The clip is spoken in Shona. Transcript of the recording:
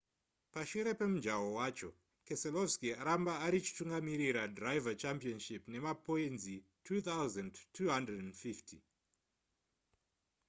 pashure pemujaho wacho keselowki aramba arichitungamirira driver' championship nemapoinzi 2 250